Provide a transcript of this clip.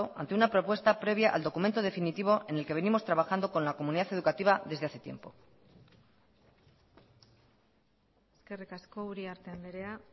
ante una propuesta previa al documento definitivo en el que venimos trabajando con la comunidad educativa desde hace tiempo eskerrik asko uriarte andrea